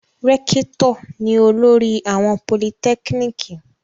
Rẹ́kítọ̀ ni olórí àwọn politẹ́kíníkì.